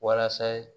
Walasa